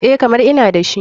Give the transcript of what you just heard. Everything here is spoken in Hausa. EH, kamar ina dashi.